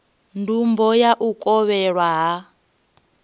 ndumbo na u kovhelwa ha